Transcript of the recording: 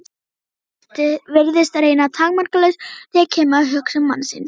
Frelsið virðist reyndar takmarkalaust þegar kemur að hugsun mannsins.